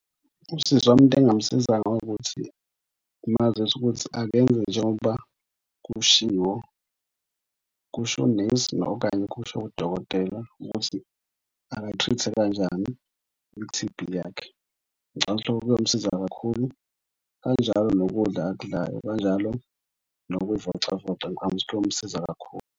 Usisi wami into engamusiza ngokuthi ngimazise ukuthi akenze njengoba kushiwo kusho unesi okanye, kusho udokotela ukuthi akayi-treat-e kanjani i-T_B yakhe. Ngicabanga lokho kuyomsiza kakhulu kanjalo nokudla akudlayo, kanjalo nokuy'vocavoca, ngicabanga ukuthi kuyomsiza kakhulu.